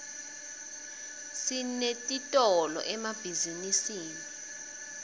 sinetiitolo emabhizinisini